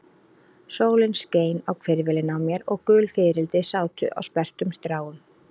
Sólin skein á hvirfilinn á mér og gul fiðrildi sátu á sperrtum stráum.